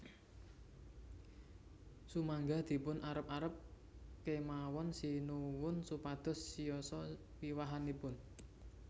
Sumangga dipun arep arep kemawon Sinuwun supados siyosa wiwahanipun